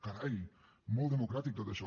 carai molt democràtic tot això